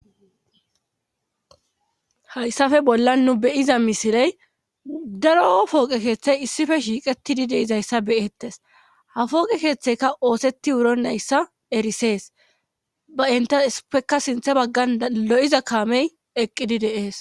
Hayssafe bolla nu beyiza misiley daro fooqe keeththey issife shiiqetidi deizayssa beyettes hafooqe keeththeyka oosetti wuro nayssa erisees ba inta supeka sintha baggan lo'iza kaamey eqqidi deees.